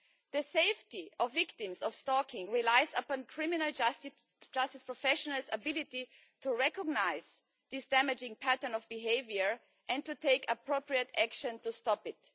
The safety of victims of stalking relies upon criminal justice professionals' ability to recognise this damaging pattern of behaviour and to take appropriate action to stop it.